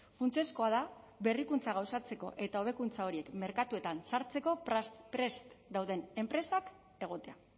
funtsezkoa da berrikuntza gauzatzeko eta hobekuntza horiek merkatuetan sartzeko prest dauden enpresak egotea